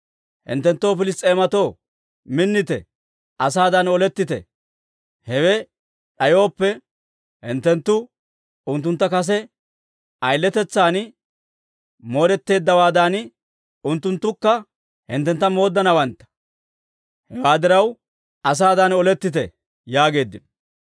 Hinttenttoo Piliss's'eematoo, minnite! Asaadan olettite! Hewe d'ayooppe, hinttenttu unttuntta kase ayiletetsan mooddeeddawaadan, unttunttukka hinttentta mooddanawantta. Hewaa diraw, asaadan olettite!» yaageeddino.